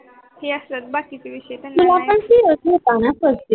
तुला पन cs होता न first year ला